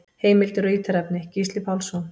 Heimildir og ítarefni: Gísli Pálsson.